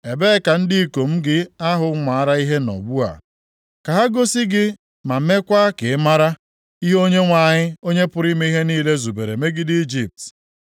Ebee ka ndị ikom gị ahụ maara ihe nọ ugbu a? Ka ha gosi gị ma meekwa ka ị maara, ihe Onyenwe anyị, Onye pụrụ ime ihe niile zubere megide Ijipt.